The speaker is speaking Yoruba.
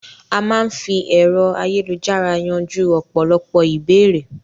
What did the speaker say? A máa n fí ẹ̀rọ ayélujára yanjú ọ̀pọ̀lọpọ̀ ìbéèrè